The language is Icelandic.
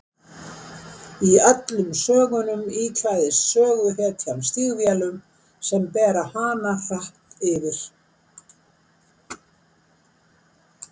Í öllum sögunum íklæðist söguhetjan stígvélum sem bera hana hratt yfir.